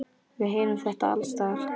Við heyrum þetta alls staðar.